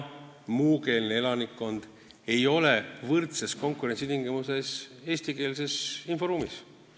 Muukeelne elanikkond ei ole eestikeelses inforuumis võrdsetes konkurentsitingimustes.